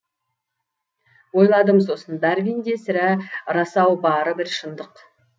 ойладым сосын дарвинде сірә рас ау бары бір шындық